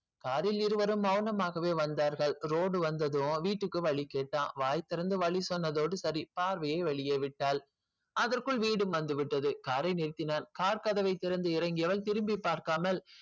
car ல் இருவரும் மௌனம் மாக வந்தார்கள் road வந்ததும் வீட்டுக்கு வழி கேட்டான் வாய் திறந்து வழி சொன்னதோடு சரி பார்வையே வெளியே விட்டால் அதற்குள் வீடு வந்து விட்டது car யே நிறுத்தினான் car கதவை திறந்து இறங்கினால் திரும்பி பார்க்காமல்